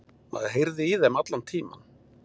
Maður heyrði í þeim allan tímann